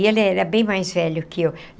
E ele era bem mais velho que eu.